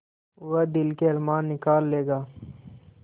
वह दिल के अरमान निकाल लेगा